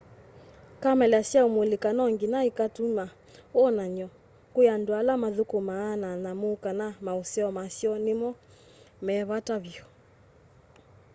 kamela syaũmulĩka nonginya ikatũma wonany'o kwĩ andũ ala mathũkũmanaa na nyamũ kana maũseo masyo nĩmo me vata vyũ